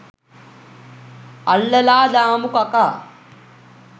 අල්ලලා දාමු කකා.